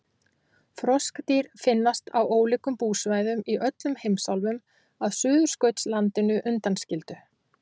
froskdýr finnast á ólíkum búsvæðum í öllum heimsálfum að suðurskautslandinu undanskildu